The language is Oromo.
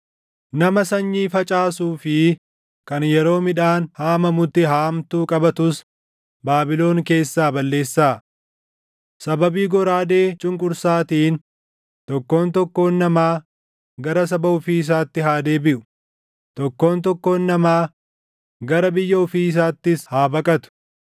Nama sanyii facaasuu fi kan yeroo midhaan haamamutti haamtuu qabatus Baabilon keessaa balleessaa. Sababii goraadee cunqursaatiin tokkoon tokkoon namaa gara saba ofii isaatti haa deebiʼu; tokkoon tokkoon namaa gara biyya ofii isaattis haa baqatu.